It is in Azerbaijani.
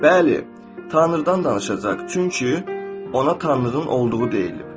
Bəli, Tanrıdan danışacaq, çünki ona Tanrının olduğu deyililib.